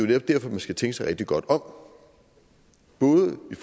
netop derfor man skal tænke sig rigtig godt om både i